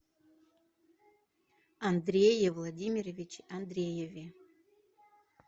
андрее владимировиче андрееве